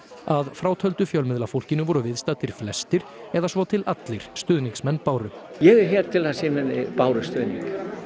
að frátöldu fjölmiðlafólkinu voru viðstaddir flestir eða svo til allir stuðningsmenn Báru ég er hér til að sýna henni Báru stuðning